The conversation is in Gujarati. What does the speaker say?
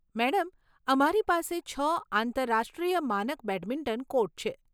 મેડમ, અમારી પાસે છ આંતરરાષ્ટ્રીય માનક બેડમિન્ટન કોર્ટ છે.